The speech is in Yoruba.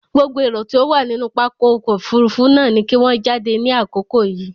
Gbogbo erò tó wà nínú pápá ọkọ̀ òfurufú náà ni kí wọ́n jáde ní àkókò yìí!